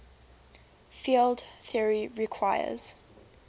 field theory requires